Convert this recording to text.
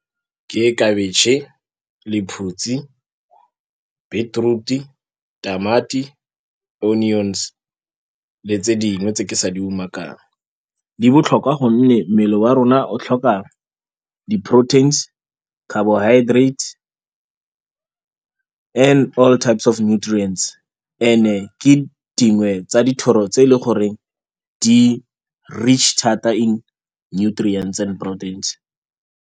Ke khabetšhe lephutsi, beetroot-i, tamati, onions le tse dingwe tse ke sa di umakang, di botlhokwa ka gonne mmele wa rona o tlhoka di-proteins-e, carbohydrates and-e all types of nutrients, and-e ke dingwe tsa dithoro tse e leng gore di-rich thata in nutrients and proteins-e.